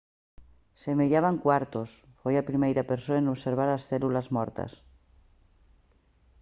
semellaban cuartos foi a primeira persoa en observar as células mortas